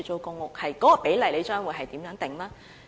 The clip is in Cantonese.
有關比例將如何釐定？